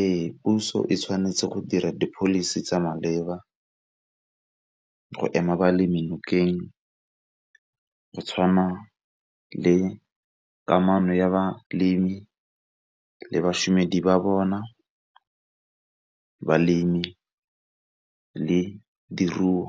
Ee, puso e tshwanetse go dira di policy tsa maleba go ema balemi dinokeng go tshwana le kamano ya balemi le bašomedi ba bona, balemi le diruo